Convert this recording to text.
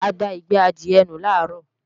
A da ìgbẹ́ adìẹ nù làárọ̀